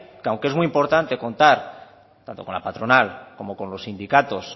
que aunque es muy importante contar tanto con la patronal como con los sindicatos